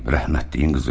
Rəhmətliyin qızı.